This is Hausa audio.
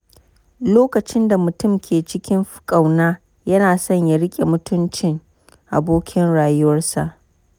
Lokacin da mutum ke cikin ƙauna, yana son ya riƙe mutuncin abokin rayuwarsa.